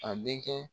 A denkɛ